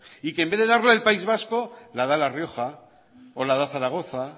y que en vez de darla el país vasco la da la rioja o la da zaragoza